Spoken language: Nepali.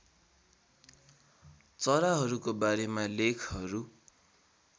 चराहरूको बारेमा लेखहरू